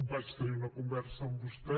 vaig tenir una conversa amb vostè